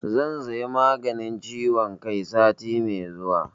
Zan saya maganin ciwon kai sati mai zuwa